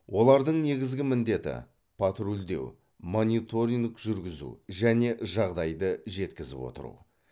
олардың негізгі міндеті патрульдеу мониторинг жүргізу және жағдайды жеткізіп отыру